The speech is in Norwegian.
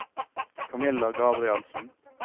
Camilla Gabrielsen